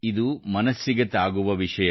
ಇದು ಮನಸ್ಸಿಗೆ ತಾಗುವ ವಿಷಯ